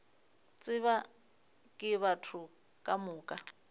tsebja ke batho ka moka